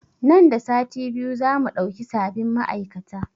Nan da sati biyu za mu ɗauki sabin ma'aikata